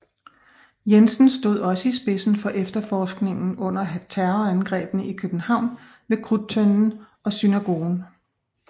Jensen stod også i spidsen for efterforskningen under terrorangrebene i København ved Krudttønden og Synagogen